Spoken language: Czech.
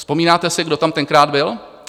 Vzpomínáte si, kdo tam tenkrát byl?